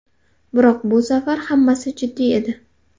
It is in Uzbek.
Biroq bu safar hammasi jiddiy edi.